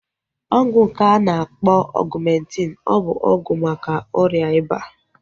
Ọgwụ nke a na-akpọ Ọgumentin ọ bụ ọgwụ maka ọrịa ịba?